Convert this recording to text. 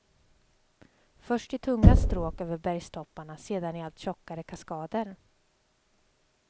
Först i tunga stråk över bergstopparna, sedan i allt tjockare kaskader.